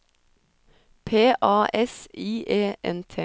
P A S I E N T